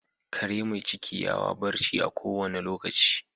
Kare mai ciki yawa barci a ko wanda lokaci.